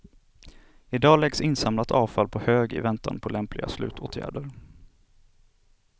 Idag läggs insamlat avfall på hög i väntan på lämpliga slutåtgärder.